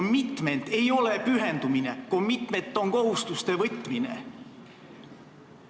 Commitment ei ole pühendumine, commitment on kohustuste võtmine!